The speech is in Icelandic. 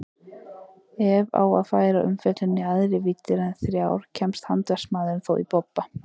Ef á að færa umfjöllunina í æðri víddir en þrjár kemst handverksmaðurinn þó í bobba.